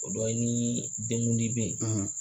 O dɔ ye ni denguli bɛ ye.